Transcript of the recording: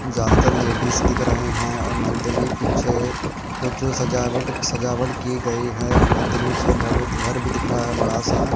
ज्यादातर लेडीज दिख रही हैं और मंदिर के पीछे कुछ सजावट सजावट की गई है और मंदिर पीछे घर भी घर भी दिख रहा है बड़ा सा।